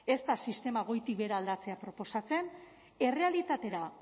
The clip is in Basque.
ez da sistema goitik behera aldatzea proposatzen errealitatera